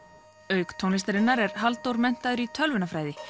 auk tónlistarinnar er Halldór menntaður í tölvunarfræði